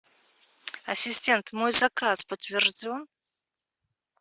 ассистент мой заказ подтвержден